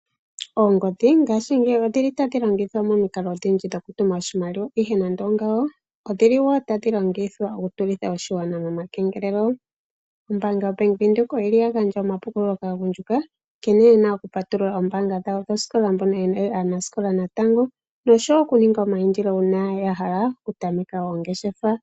Oongodhi ngaashingeyi odhi li ta dhi longithwa momikalo odhindji dhokutuma oshimaliwa ashike nande ongawo odhi li wo ta dhi longithwa okutulitha oshigwana momakengelelo. Ombanga yoBank Windhoek oyi li ya gandja omapukululo kaagundjuka nkene ye na okupatulula oombanga dhawo dhosikola mbono ye li aanasikola natango noshowo okuninga omayindilo uuna ya hala okutameka oongeshefa.